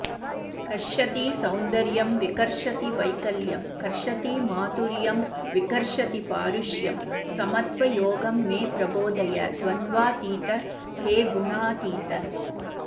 कर्षति सौन्दर्यं विकर्षति वैकल्यं कर्षति माधुर्यं विकर्षति पारुष्यं समत्वयोगं मे प्रबोधय द्वन्द्वातीत हे गुणातीत